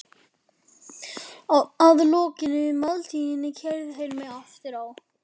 Að lokinni máltíðinni keyrðu þeir mig aftur á